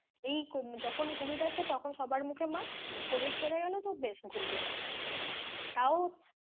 এই যখন covid আসছে তখন সবার মুখে mask, covid চলে গেলো তো বেশ ঘুরলো তাও,